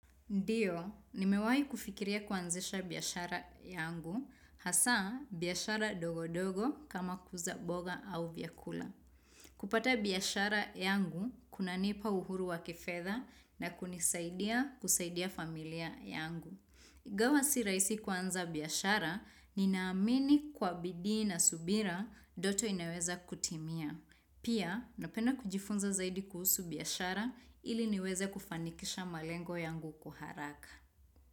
Ndio, nimewai kufikiria kuanzisha biashara yangu, hasa biashara dogo dogo kama kuuza mboga au vyakula. Kupata biashara yangu, kunanipa uhuru wa kifedha na kunisaidia kusaidia familia yangu. Ingawa si rahisi kuanza biashara, ninaamini kwa bidii na subira, ndoto inaweza kutimia. Pia napenda kujifunza zaidi kuhusu biashara ili niweze kufanikisha malengo yangu kwa haraka.